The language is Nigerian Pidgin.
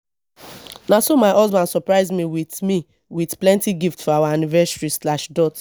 na so my husband surprise me wit me wit plenty gift for our anniversary slash dot